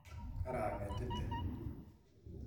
Karangetite